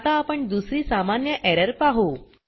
आता आपण दुसरी सामान्य एरर पाहू